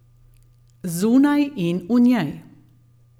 Zunaj in v njej.